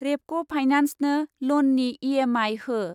रेपक' फाइनान्सनो ल'ननि इ.एम.आइ हो।